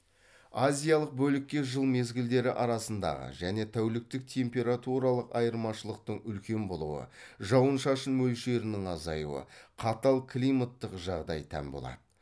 азиялық бөлікке жыл мезгілдері арасындағы және тәуліктік температуралық айырмашылықтың үлкен болуы жауын шашын мөлшерінің азаюы қатал климаттық жағдай тән болады